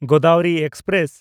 Godavari express